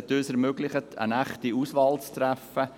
Diese haben uns ermöglicht, eine echte Auswahl zu treffen,